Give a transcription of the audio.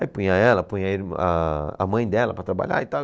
Aí punha ela, punha a irmã, ah, a mãe dela para trabalhar e tal.